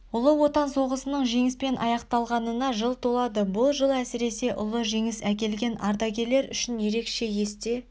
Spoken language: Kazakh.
ұлы отан соғысының жеңіспен аяқталғанына жыл толады бұл жыл әсіресе ұлы жеңіс әкелген ардагерлер үшін ерекше есте